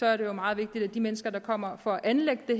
er det jo meget vigtigt at de mennesker der kommer for at anlægge det